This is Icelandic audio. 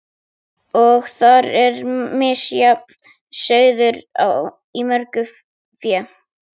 Og þar er misjafn sauður í mörgu fé.